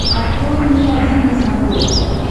открой мне один на смотрешке